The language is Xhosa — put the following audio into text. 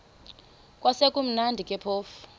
kwakusekumnandi ke phofu